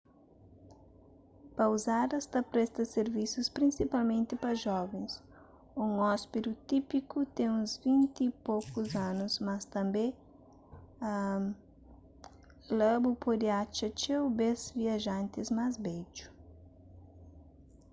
pouzadas ta presta sirvisus prinsipalmenti pa jovens un ôspidi típiku ten uns vinti y poku anus mas tanbê la bu pode atxa txeu bês viajantis más bedju